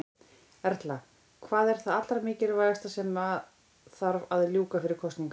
Erla: Hvað er það allra mikilvægasta sem að þarf að ljúka fyrir kosningar?